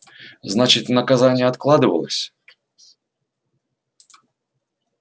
значит наказание откладывалось